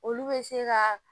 Olu bɛ se ka